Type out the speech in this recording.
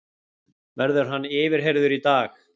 Verður hann yfirheyrður í dag